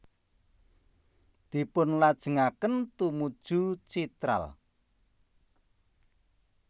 Dipunlajengaken tumuju Chitral